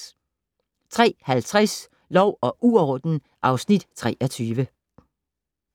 03:50: Lov og uorden (Afs. 23)